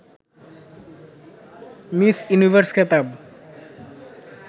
miss Universe খেতাব